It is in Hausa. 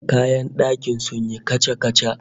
Kayan dakin sun yi kaca-kaca